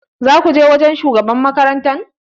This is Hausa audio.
Za ka je wajen shugaban makaranta?